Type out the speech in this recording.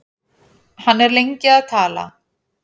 Hann er lengi að tala.